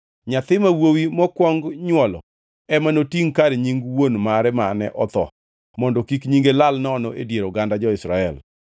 Nyathi ma wuowi mokwong nywolo ema notingʼ kar nying wuon mare mane otho mondo kik nyinge lal nono e dier oganda jo-Israel.